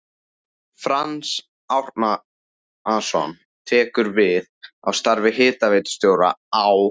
Franz Árnason tekur við starfi hitaveitustjóra á